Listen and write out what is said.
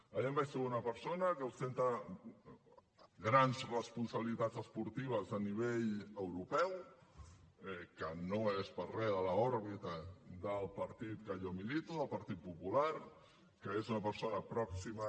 allà em vaig trobar una persona que ostenta grans responsabilitats esportives a nivell europeu que no és gens de l’òrbita del partit que jo milito del partit popular que és una persona pròxima